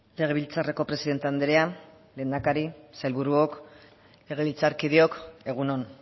legebiltzarreko presidente andrea lehendakari sailburuok legebiltzarkideok egun on